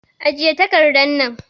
Ajiye takardan nan!